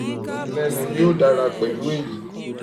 e lenu yi o dara po pelu eyi